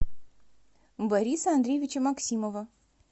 бориса андреевича максимова